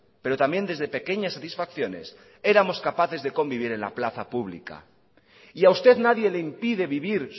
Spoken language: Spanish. pero también desde pequeñas satisfacciones éramos capaces de convivir en la plaza pública y a usted nadie le impide vivir